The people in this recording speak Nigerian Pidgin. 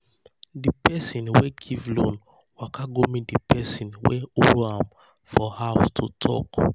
di person wey give loan waka go meet di person wey owe am for house to talk.